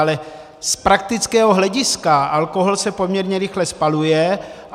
Ale z praktického hlediska alkohol se poměrně rychle spaluje.